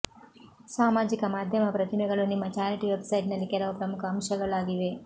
ಸಾಮಾಜಿಕ ಮಾಧ್ಯಮ ಪ್ರತಿಮೆಗಳು ನಿಮ್ಮ ಚಾರಿಟಿ ವೆಬ್ಸೈಟ್ನಲ್ಲಿ ಕೆಲವು ಪ್ರಮುಖ ಅಂಶಗಳಾಗಿವೆ